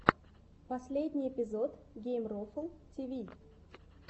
последний эпизод геймрофл тиви